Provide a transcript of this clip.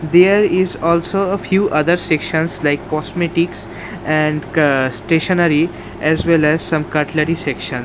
There is also a few other sections like cosmetics and ca stationery as well as some cutlery section.